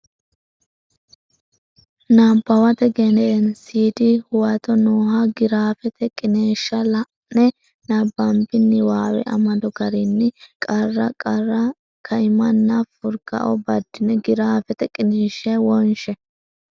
Nabbawate Gedensiidi Huwato nooha giraafete qiniishsha la ine nabbabbini niwaawe amado garinni qarra qarru kaimanna furgao baddine giraafete qiniishshi wonshe.